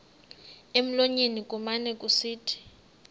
emlonyeni kumane kusithi